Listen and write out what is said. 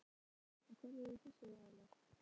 Sindri Sindrason: Og hverjir eru þessir aðilar?